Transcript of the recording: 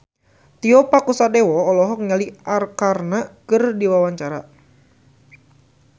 Tio Pakusadewo olohok ningali Arkarna keur diwawancara